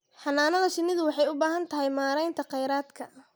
Xannaanada shinnidu waxay u baahan tahay maaraynta kheyraadka.